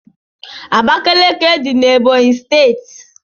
Abakiliki dị n' Ebonyi steeti.